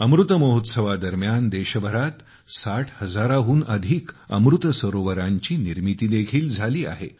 अमृत महोत्सवादरम्यान देशभरात 60 हजाराहून अधिक अमृत सरोवरांची निर्मिती देखील झाली आहे